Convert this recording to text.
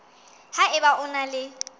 ha eba o na le